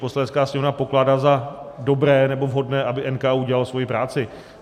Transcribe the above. Poslanecká sněmovna pokládá za dobré nebo vhodné, aby NKÚ dělal svoji práci.